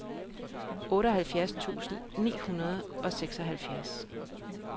otteoghalvfjerds tusind ni hundrede og seksoghalvfjerds